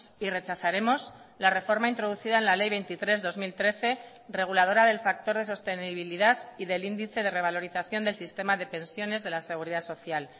y rechazaremos la reforma introducida en la ley veintitrés barra dos mil trece reguladora del factor de sostenibilidad y del índice de revalorización del sistema de pensiones de la seguridad social